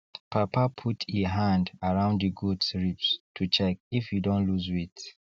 papa put e hand around the goats ribs to check if e don loose weight